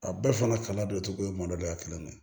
A bɛɛ fana doncogo ye mɔdɛli la kelen ye